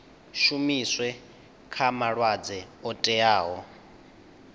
shumiswe kha malwadzwe o teaho